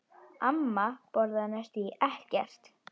Amma borðaði næstum ekkert.